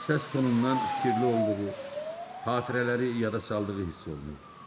Səs tonundan fikirli olduğu, xatirələri yada saldığı hiss olunurdu.